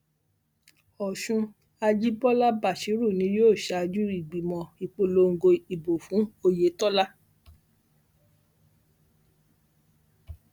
ọṣùn àjibọlá básírù ni yóò ṣáájú ìgbìmọ ìpolongo ìbò fún ọyétọlá